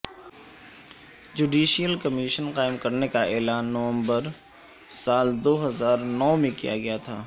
judicial commission قائم کرنے کا اعلان نومبر سال دو ہزار نو میں کیا گیا تھا